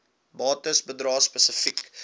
bates bedrae spesifiek